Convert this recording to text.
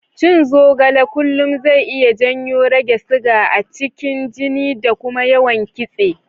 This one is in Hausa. Cin zogale kullum zai iya janyo rage siga a cikin jini da kuma yawan kitse.